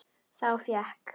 Þá fékk